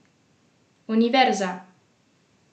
Univerza!